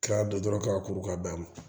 K'a don dɔrɔn k'a kuru k'a bɛɛ ma